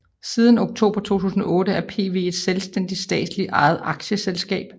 Siden oktober 2008 er PV et selvstændigt statsligt ejet aktieselskab